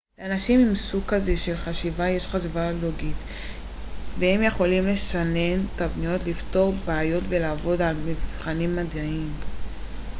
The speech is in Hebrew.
לאנשים עם סוג כזה של חשיבה יש חשיבה לוגית והם יכולים לשנן תבניות לפתור בעיות ולעבוד על מבחנים מדעיים